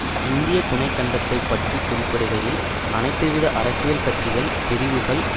இந்திய துணை கண்டத்தை பற்றி குறிப்பிடுகையில் அனைத்துவித அரசியல் கட்சிகள் பிரிவுகள்